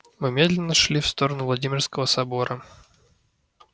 мы медленно шли в сторону владимирского собора